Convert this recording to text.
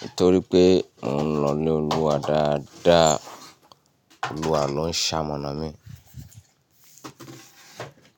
nitorí pé mo ń lọ lé Olúwa dáadáa. Olúwa ló ń ṣamọ̀nà mi.